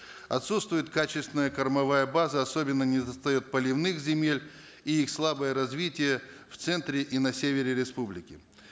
отсутствует качественная кормовая база особенно не достает поливных земель и их слабое развитие в центре и на севере республики